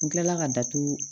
N kilala ka datugu